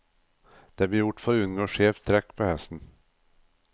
Det ble gjort for å unngå skjevt trekk på hesten.